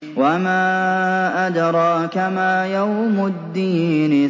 وَمَا أَدْرَاكَ مَا يَوْمُ الدِّينِ